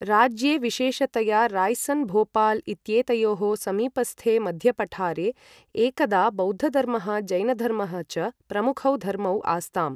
राज्ये विशेषतया राय्सन् भोपाल् इत्येतयोः समीपस्थे मध्यपठारे, एकदा बौद्धधर्मः जैनधर्मः च प्रमुखौ धर्मौ आस्ताम्।